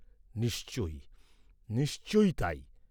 নিশ্চয়ই নিশ্চয়ই তাই।